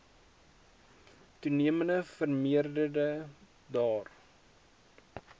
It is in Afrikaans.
toenemend vermeerder daar